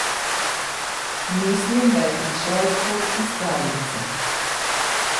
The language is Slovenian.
Mislim, da je prišel kot iz pravljice.